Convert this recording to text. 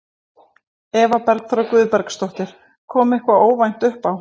Eva Bergþóra Guðbergsdóttir: Kom eitthvað óvænt uppá?